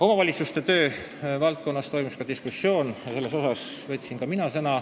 Omavalitsuste töö auditeerimise teemal toimus samuti diskussioon, seal võtsin sõna ka mina.